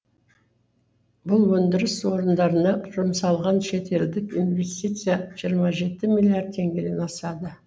бұл өндіріс орындарына жұмсалған шетелдік инвестиция жиырма жеті миллиард теңгеден асады